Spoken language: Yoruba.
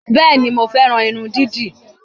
Bẹ́ẹ̀ni, mo fẹ́ran irun dídì